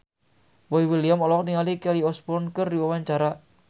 Boy William olohok ningali Kelly Osbourne keur diwawancara